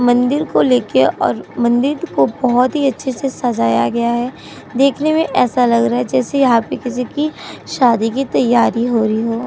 मंदिर को लेकर और मंदिर को बहुत ही अच्छे से सजाया गया है। देखने में ऐसा लग रहा है जैसे यहाँ पे किसी की शादी की तैयारी हो रही हो।